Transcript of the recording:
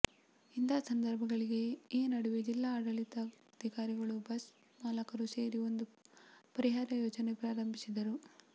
ಇಂತಹ ಸಂದರ್ಭಗಳಿಗೆ ಈ ನಡುವೆ ಜಿಲ್ಲಾ ಆಡಳಿತಾಧಿಕಾರಿಗಳು ಬಸ್ಸು ಮಾಲಕರು ಸೇರಿ ಒಂದು ಪರಿಹಾರ ಯೋಜನೆ ಪ್ರಾರಂಭಿಸಿದರು